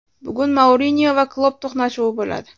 Bugun Mourinyo va Klopp to‘qnashuvi bo‘ladi.